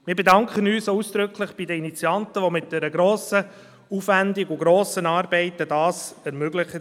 Wir bedanken uns auch ausdrücklich bei den Initianten, die dies mit grossem Aufwand und viel Arbeit ermöglicht haben.